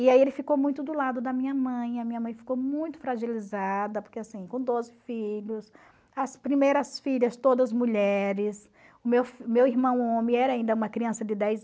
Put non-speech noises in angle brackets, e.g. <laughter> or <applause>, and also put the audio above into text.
E aí ele ficou muito do lado da minha mãe, a minha mãe ficou muito fragilizada, porque assim, com doze filhos, as primeiras filhas todas mulheres, meu <unintelligible> irmão homem era ainda uma criança de dez